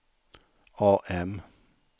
AM